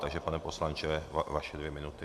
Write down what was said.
Takže pane poslanče, vaše dvě minuty.